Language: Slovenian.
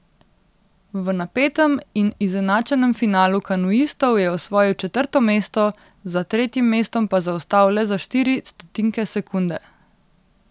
V napetem in izenačenem finalu kanuistov je osvojil četrto mesto, za tretjim mestom pa zaostal le za štiri stotinke sekunde.